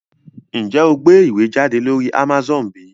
Njé o gbé ìwé jáde lórí Amazone bí?